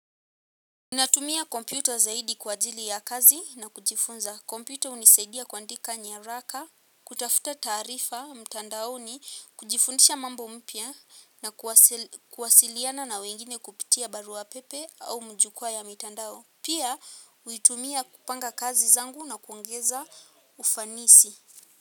Natumia kompyuta zaidi kwa ajili ya kazi na kujifunza. Kompyuta hunisaidia kuandika nyaraka, kutafuta taarifa, mtandaoni, kujifundisha mambo mpya na kuwasiliana na wengine kupitia barua pepe au mjukua ya mtandao. Pia, uitumia kupanga kazi zangu na kuongeza ufanisi.